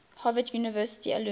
harvard university alumni